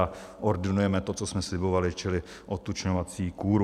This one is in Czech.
A ordinujeme to, co jsme slibovali, čili odtučňovací kůru.